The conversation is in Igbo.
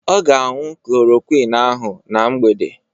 Ọ ga-añụ klorokwin ahụ na mgbede.